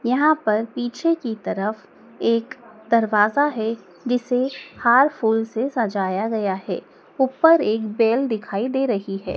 यहां पर पीछे की तरफ एक दरवाजा है जिसे हार फूल से सजाया गया है ऊपर एक बेल दिखाई दे रही है।